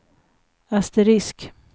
asterisk